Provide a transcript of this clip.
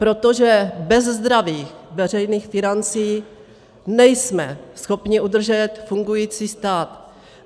Protože bez zdravých veřejných financí nejsme schopni udržet fungující stát.